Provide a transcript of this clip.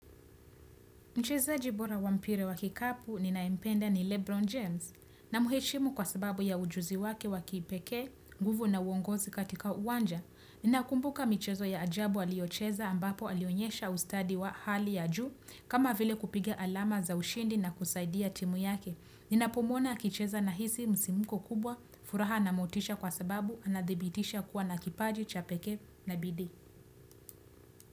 Mchezaji bora wa mpira wa kikapu ninayempenda ni Lebron James namheshimu kwa sababu ya ujuzi wake wa kipekee, nguvu na uongozi katika uwanja. Ninakumbuka mchezo ya ajabu aliocheza ambapo alionyesha ustadi wa hali ya juu kama vile kupiga alama za ushindi na kusaidia timu yake. Ninapomwona akicheza nahisi msimuko kubwa furaha na motisha kwa sababu anadhibitisha kuwa na kipaji cha pekee na bidi.